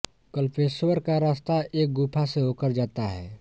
कल्पेश्वर का रास्ता एक गुफ़ा से होकर जाता है